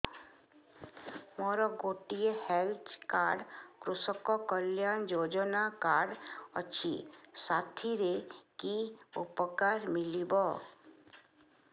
ମୋର ଗୋଟିଏ health card କୃଷକ କଲ୍ୟାଣ ଯୋଜନା କାର୍ଡ ଅଛି ସାଥିରେ କି ଉପକାର ମିଳିବ